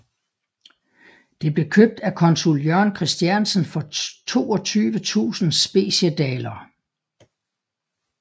Det blev købt af consul Jørgen Christiansen for 22000 Speciedaler